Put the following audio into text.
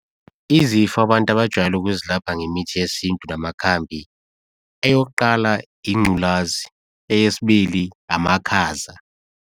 Izifo abantu abajwayele ukuzelapha ngemithi yesintu namakhambi, eyokuqala ingculazi, eyesibili amakhaza.